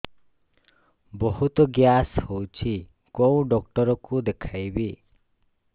ବହୁତ ଗ୍ୟାସ ହଉଛି କୋଉ ଡକ୍ଟର କୁ ଦେଖେଇବି